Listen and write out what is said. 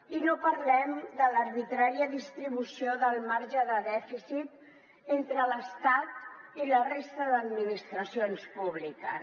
i no parlem de l’arbitrària distribució del marge de dèficit entre l’estat i la resta d’administracions públiques